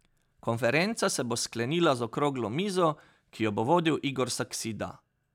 Konferenca se bo sklenila z okroglo mizo, ki jo bo vodil Igor Saksida.